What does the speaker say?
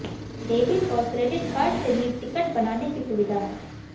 debit और credit card से भी टिकट बनाने की सुविधा है